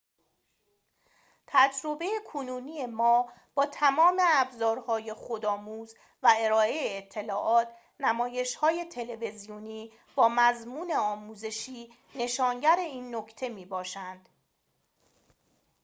تجربه کنونی ما با تمام ابزارهای خودآموز و ارائه اطلاعات نمایش‌های تلویزیونی با مضمون آموزشی نشانگر این نکته می‌باشند